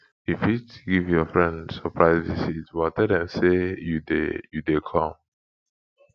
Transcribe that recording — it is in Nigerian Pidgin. you fit give your friend surprise visit but tell them say you de you de come